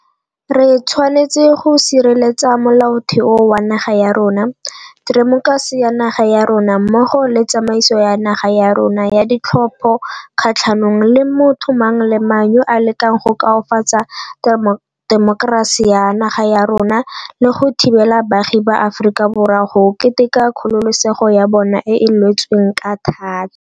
Re tshwanetse go sireletsa Molaotheo wa naga ya rona, temokerasi ya naga ya rona mmogo le tsamaiso ya naga ya rona ya ditlhopho kgatlhanong le motho mang le mang yo a lekang go koafatsa temokerasi ya naga ya rona le go thibela baagi ba Aforika Borwa go keteka kgololesego ya bona e e lwetsweng ka thata.